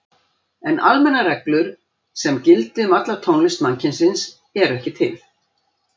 En almennar reglur sem gildi um alla tónlist mannkynsins eru ekki til.